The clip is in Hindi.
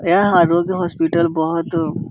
यह आरोग्य हॉस्पिटल बहोत --